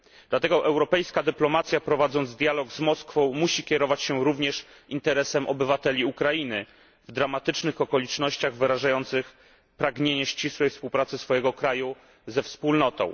Dlatego europejska dyplomacja, prowadząc dialog z Moskwą, musi kierować się również interesem obywateli Ukrainy, w dramatycznych okolicznościach wyrażających pragnienie ścisłej współpracy swojego kraju ze Wspólnotą.